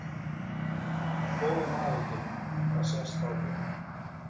Þú ert góður maður Pétur það sést á þér.